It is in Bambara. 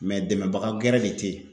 dɛmɛbaga gɛrɛ de te ye.